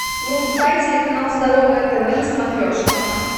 врубай телеканал здоровое тв на смотрешке